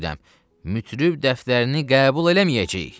Mütrib dəftərini qəbul eləməyəcəyik.